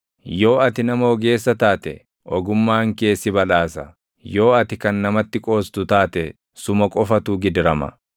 Yoo ati nama ogeessa taate, ogummaan kee si badhaasa; yoo ati kan namatti qoostu taate suma qofatu gidirama.”